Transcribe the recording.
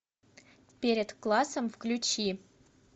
перед классом включи